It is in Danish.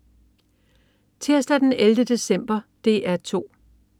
Tirsdag den 11. december - DR 2: